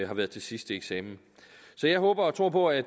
har været til sidste eksamen så jeg håber og tror på at